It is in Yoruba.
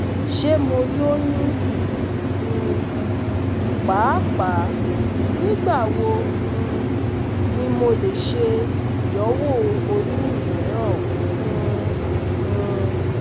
Ṣe Mo loyun? um Paapaa, nigbawo um ni MO le ṣe idanwo oyun miiran? um um